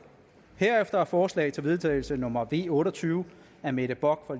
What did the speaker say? herefter er forslag til vedtagelse nummer v otte og tyve af mette bock og